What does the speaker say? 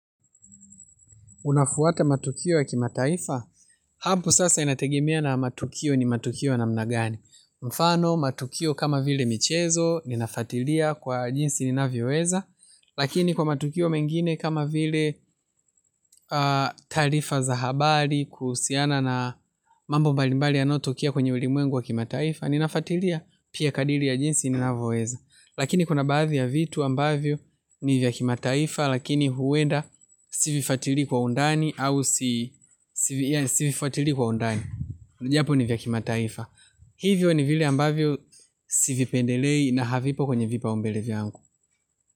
Unafuata matukio ya kimataifa? Habu sasa inategemia na matukio ni matukio na mnagani. Mfano matukio kama vile michezo ninafatilia kwa jinsi ninavyoweza. Lakini kwa matukio mengine kama vile taarifa za habari kuhusiana na mambo mbalimbali ya nayotokea kwenye ulimwengu wa kimataifa ninafatilia. Pia kadiri ya jinsi ninavyoeza. Lakini kuna baadhi ya vitu ambavyo ni vyakimataifa lakini huwenda sivifuatili kwa undani au sivifuatili kwa undani. Japo ni vyakimataifa. Hivyo ni vile ambavyo sivipendelei na hafipo kwenye vipa umbelev yangu.